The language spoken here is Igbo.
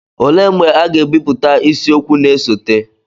olee mgbe a ga-ebipụta isiokwu na-esote